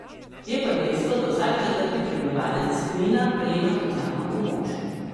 Je pa dejstvo, da vsak četrti prebivalec Knina prejema socialno pomoč.